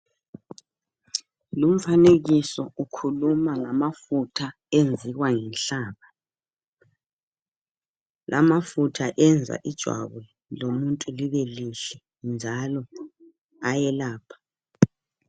Lumfanekiso ukhuluma ngamafutha enziwa yinhlaba. Amafutha yenza ijwabu lomuntu libe lihle njalo ayelapha.